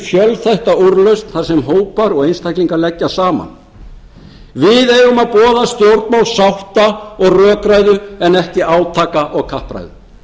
fjölþætta úrlausn þar sem hópar og einstaklingar leggja saman við eigum að boða stjórnmál sátta og rökræðu en ekki átaka og kappræðu